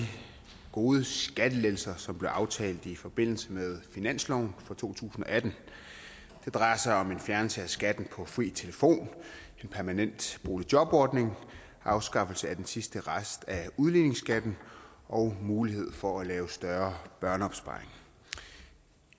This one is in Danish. gode skattelettelser som blev aftalt i forbindelse med finansloven for to tusind og atten det drejer sig om en fjernelse af skatten på fri telefon en permanent boligjobordning afskaffelse af den sidste rest af udligningsskatten og mulighed for at lave større børneopsparing